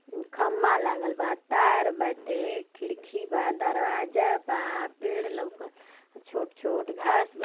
अम्म खंबा लागल बा। तार बाटे। खिड़की बा। दरवाजा बा। पेड़ लौकत। छोट-छोट घास बा।